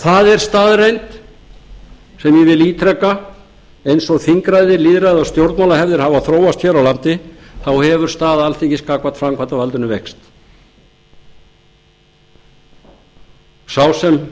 það er staðreynd sem ég vil ítreka eins og þingræði lýðræði og stjórnmálahefðir hafa þróast hér á landi þá hefur staða alþingis gagnvart framkvæmdarvaldinu veikst sá